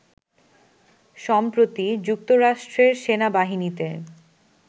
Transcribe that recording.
সম্প্রতি যুক্তরাষ্ট্রের সেনাবাহিনীতে